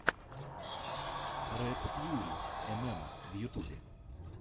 ред фьюри эмэма в ютьюбе